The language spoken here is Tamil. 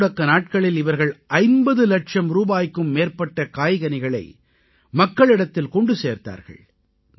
பொதுமுடக்க நாட்களில் இவர்கள் 50 இலட்சம் ரூபாய்க்கும் மேற்பட்ட காய்கனிகளை மக்களிடத்தில் கொண்டு சேர்த்தார்கள்